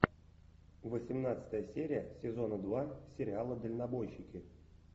восемнадцатая серия сезона два сериала дальнобойщики